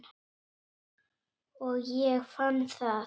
Og ég fann það.